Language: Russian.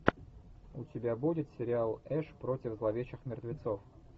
у тебя будет сериал эш против зловещих мертвецов